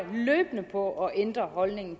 løbende på at ændre holdningen